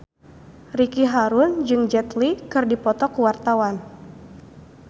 Ricky Harun jeung Jet Li keur dipoto ku wartawan